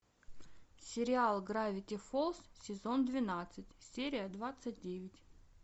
сериал гравити фолз сезон двенадцать серия двадцать девять